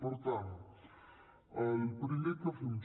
per tant el primer que fem